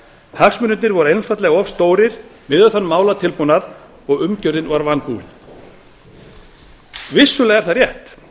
hagsmunirnir voru einfaldlega of stórir miðað við málatilbúnað og umgjörðin var vanbúin vissulega er rétt